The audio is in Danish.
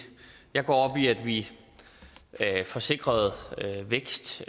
jeg går op i at vi får sikret en vækst